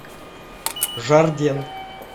жарден